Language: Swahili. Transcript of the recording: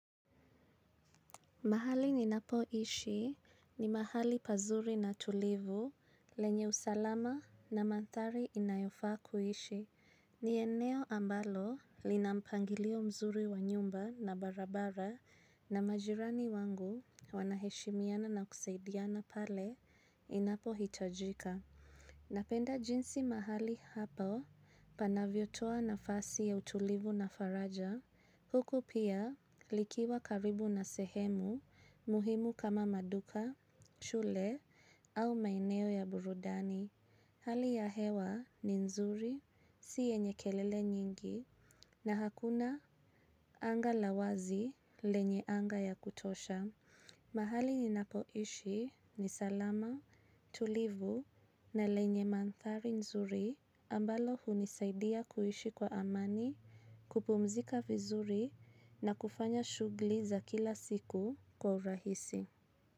Mahali ni napo ishi ni mahali pazuri na tulivu lenye usalama na mandhari inayofa kuishi. Ni eneo ambalo linampangilio mzuri wa nyumba na barabara na majirani wangu wanaheshimiana na kusaidiana pale inapo hitajika. Napenda jinsi mahali hapa panavyo toa nafasi ya utulivu na faraja, huku pia likiwa karibu na sehemu muhimu kama maduka, shule au maeneo ya burudani. Hali ya hewa ni nzuri, si yenye kelele nyingi na hakuna anga lawazi lenye anga ya kutosha. Mahali ni napoishi ni salama, tulivu na lenye mandhari nzuri ambalo hunisaidia kuishi kwa amani, kupumzika vizuri na kufanya shughuli za kila siku kwa urahisi.